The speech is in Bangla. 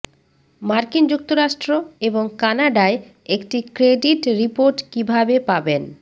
মার্কিন যুক্তরাষ্ট্র এবং কানাডায় একটি ক্রেডিট রিপোর্ট কিভাবে পাবেন